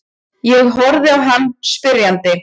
Ég horfi á hann spyrjandi.